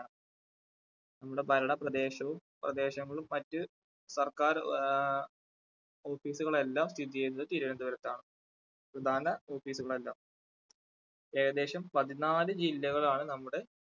നമ്മുടെ ഭരണ പ്രദേശവും പ്രദേശങ്ങളും മറ്റു സർക്കാർ ആ office കളെല്ലാം സ്ഥിതിചെയ്യുന്നത് തിരുവന്തപുരത്താണ്. പ്രധാന office കളെല്ലാം ഏകദേശം പതിനാല് ജില്ലകളാണ് നമ്മുടെ